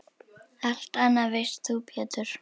Allt annað veist þú Pétur.